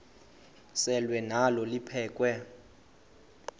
selwa nalo liphekhwe